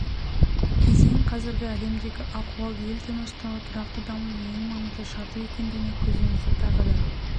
кезең қазіргі әлемдегі ахуал ел тыныштығы тұрақты дамудың ең маңызды шарты екендігіне көзімізді тағы да